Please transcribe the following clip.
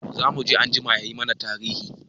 Zamuje anjima yayi mana tarihi.